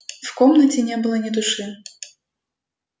в комнате не было ни души